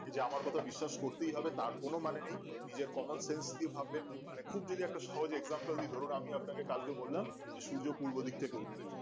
এই যে আমার কথা বিশ্বাস করতেই হবে তার কোনো মানে নেই নিজের common sence কি ভাববে মানে খুব যদি একটা সহজেই ধরুন আমি আপনাকে কালকে বললাম যে সূর্য পূর্ব দিক থেকে উঠবে